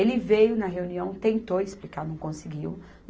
Ele veio na reunião, tentou explicar, não conseguiu.